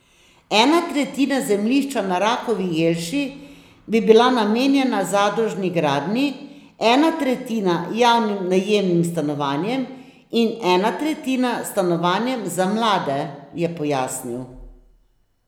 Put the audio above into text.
Ena tretjina zemljišča na Rakovi Jelši bi bila namenjena zadružni gradnji, ena tretjina javnim najemnim stanovanjem in ena tretjina stanovanjem za mlade, je pojasnil.